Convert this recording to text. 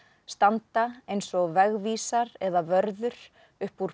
standa eins og vegvísar eða vörður upp úr